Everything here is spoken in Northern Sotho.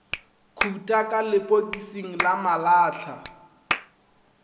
khuta ka lepokising la malahla